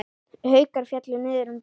Haukar féllu niður um deild.